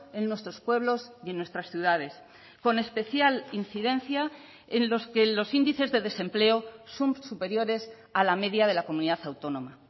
en nuestros pueblos y en nuestras ciudades con especial incidencia en los que los índices de desempleo son superiores a la media de la comunidad autónoma